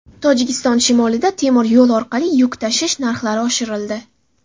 Tojikiston shimolida temir yo‘l orqali yuk tashish narxlari oshirildi.